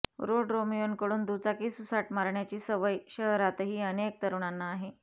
रोडरोमियोंकडून दुचाकी सुसाट मारण्याची सवय शहरातही अनेक तरुणांना आहे